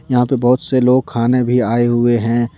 यहां पे बहुत से लोग खाने भी आए हुए हैं।